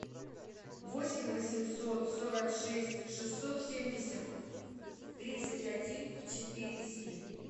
восемь восемьсот сорок шесть шестьсот семьдесят тридцать один четыре семь